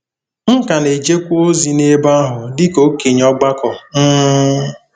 M ka na-ejekwa ozi n’ebe ahụ dị ka okenye ọgbakọ um.